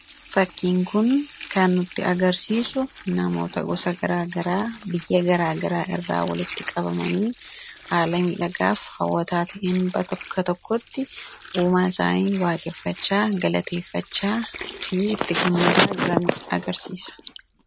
fakkiin kun kannutti agarsiisu namoota gosa gara garaa biyya garaagaraa irraa walitti qabamanii haala miidhagaaf hawwataa ta'een bakka tokkotti uumaa isaanii waaqeffachaa galateeffachaa fi itti gammadaa jiran agarsiisa